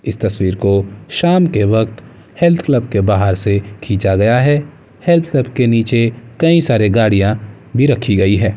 इस तस्वीर को शाम के वक़्त हेल्थ क्लब के बाहर से खींचा गया है हेल्थ क्लब के निचे कई सारी गाड़ियां भी रखी गई हैं।